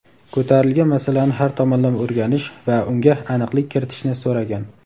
ko‘tarilgan masalani har tomonlama o‘rganish va unga aniqlik kiritishni so‘ragan.